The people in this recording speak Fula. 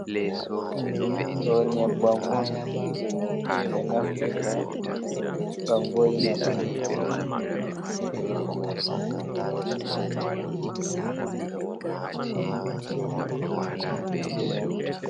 Ɗo nyebbam on je ɓe naftirta ngam vo'ina ɓandu.